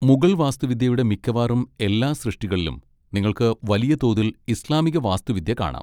മുഗൾ വാസ്തുവിദ്യയുടെ മിക്കവാറും എല്ലാ സൃഷ്ടികളിലും നിങ്ങൾക്ക് വലിയ തോതിൽ ഇസ്ലാമിക വാസ്തുവിദ്യ കാണാം.